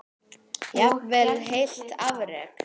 Jafnvel heilt afrek?